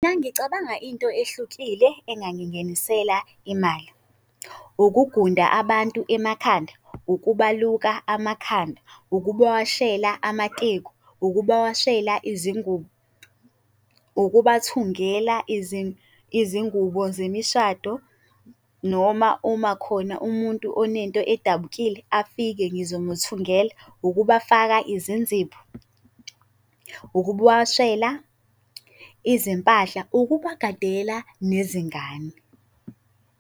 Uma ngicabanga into ehlukile engangingenisela imali. Ukugunda abantu emakhanda, ukubaluka amakhanda, ukubawashela amateku, ukubawashela izingubo, ukubathungela izingubo zemishado, noma uma khona umuntu onento edabukile afike ngizomuthungela, ukubafaka izinzipho, ukubawashela izimpahla, ukubagadela nezingane.